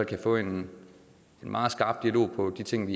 kan få en meget skarp dialog om de ting